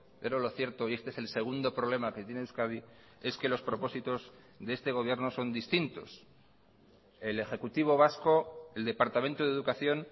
pero lo cierto y este es el segundo problema que tiene euskadi es que los propósitos de este gobierno son distintos el ejecutivo vasco el departamento de educación